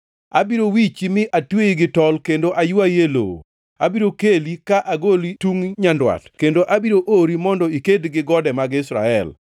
Abiro wichi mi atweyi gi tol kendo aywayi e lowo. Abiro keli ka agoli tungʼ nyandwat kendo abiro ori mondo iked gi gode mag Israel.